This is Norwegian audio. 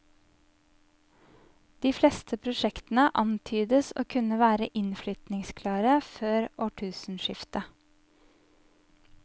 De fleste prosjektene antydes å kunne være innflytningsklare før årtusenskiftet.